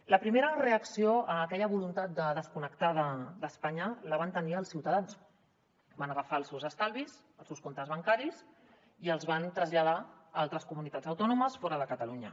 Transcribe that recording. la primera reacció a aquella voluntat de desconnectar d’espanya la van tenir els ciutadans van agafar els seus estalvis els seus comptes bancaris i els van traslladar a altres comunitats autònomes fora de catalunya